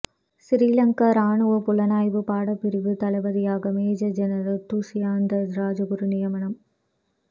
சிறிலங்கா இராணுவப் புலனாய்வுப் படைப்பிரிவு தளபதியாக மேஜர் ஜெனரல் துஸ்யந்த ராஜகுரு நியமனம்